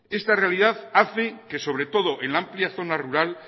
esta realidad hace que sobre todo en la amplia zona rural